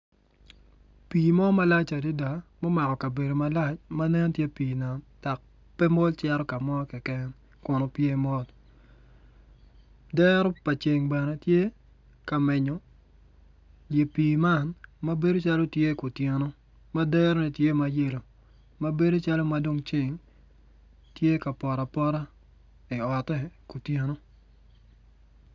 Pii mo malac adada mumako kabedo malac ma nen tye pii nam dok pe mol ito ka mo keken kun opye mot dero pa ceng bene tye ka menyo i pii man ma bedo calo tye kutyeno ma derone tye ma yelo ma bedo calo madong ceng tye ka poto apota iote kutyeno